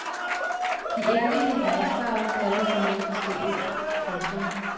De enkelte herskere kalder sig noget forskelligt. punktum